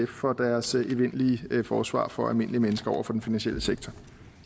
for deres evindelige forsvar for almindelige mennesker over for den finansielle sektor